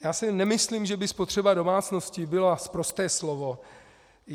Já si nemyslím, že by spotřeba domácností byla sprosté slovo.